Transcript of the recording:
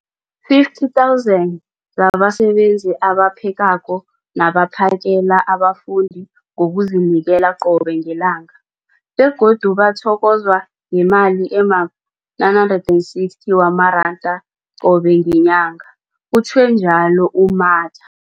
50 000 zabasebenzi abaphekako nabaphakela abafundi ngokuzinikela qobe ngelanga, begodu bathokozwa ngemali ema-960 wamaranda qobe ngenyanga, utjhwe njalo u-Mathe.